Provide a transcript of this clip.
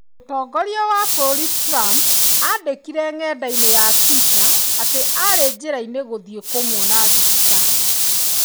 Mũtongoria wa bũrũri Trump aandĩkire nenda-inĩ ya Twitter atĩ aarĩ njĩra-inĩ gũthiĩ kũmuona thibitarĩ.